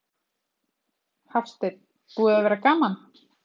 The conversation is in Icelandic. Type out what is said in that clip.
Hafsteinn: Búið að vera gaman?